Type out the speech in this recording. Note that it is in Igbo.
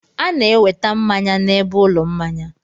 A na-eweta mmanya n'ebe ụlọ mmanya.